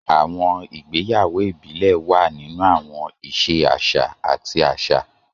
Àwọn ìgbéyàwó ìbílẹ̀ wà nínú àwọn ìṣe àṣà àti àṣà.